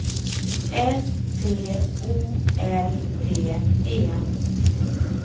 S T O L P E